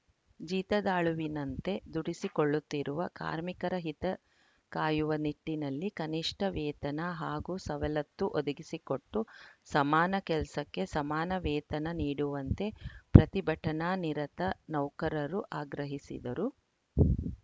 ಜೀತದಾಳುವಿನಂತೆ ದುಡಿಸಿಕೊಳ್ಳುತ್ತಿರುವ ಕಾರ್ಮಿಕರ ಹಿತಕಾಯುವ ನಿಟ್ಟಿನಲ್ಲಿ ಕನಿಷ್ಠ ವೇತನ ಹಾಗೂ ಸವಲತ್ತು ಒದಗಿಸಿಕೊಟ್ಟು ಸಮಾನ ಕೆಲಸಕ್ಕೆ ಸಮಾನ ವೇತನ ನೀಡುವಂತೆ ಪ್ರತಿಭಟನಾನಿರತ ನೌಕರರು ಆಗ್ರಹಿಸಿದರು